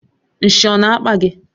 Nshị ọ na-akpa gị?